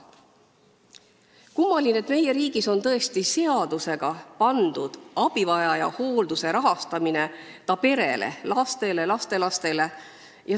Kummaline, et meie riigis on tõesti seadusega tehtud abivajaja hoolduse rahastamine ta pere, laste ja lastelaste kohustuseks.